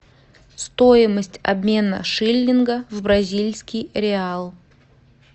стоимость обмена шиллинга в бразильский реал